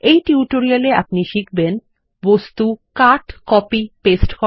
এই টিউটোরিয়ালটি তে আপনি শিখবেন বস্তু কাট কপি পেস্ট করা